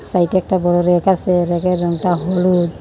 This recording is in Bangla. সাইডে একটা বড়ো রেক আছে রেকের রংটা হলুদ।